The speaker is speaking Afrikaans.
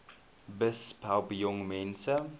besp help jongmense